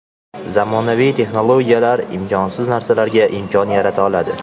Zamonaviy texnologiyalar imkonsiz narsalarga imkon yarata oladi.